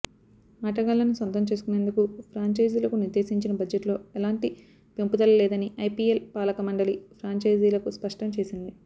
ఆటగాళ్లను సొంతం చేసుకునేందుకు ఫ్రాంచైజీలకు నిర్దేశించిన బడ్జెట్లో ఎలాంటి పెంపుదల లేదని ఐపీఎల్ పాలకమండలి ఫ్రాంఛైజీలకు స్పష్టం చేసింది